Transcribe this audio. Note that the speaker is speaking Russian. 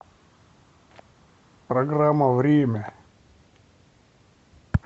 программа время